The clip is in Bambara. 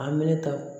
A meleta